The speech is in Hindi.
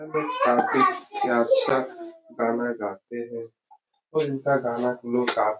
लोग काफी अच्छा गाना गाते हैं। और इनका गाना हमलोग काफी --